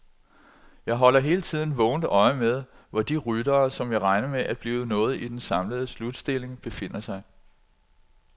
Jeg holder hele tiden vågent øje med, hvor de ryttere, som jeg regner med bliver noget i den samlede slutstilling, befinder sig.